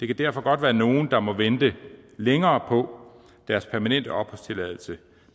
kan derfor godt være nogle der må vente længere på deres permanente opholdstilladelse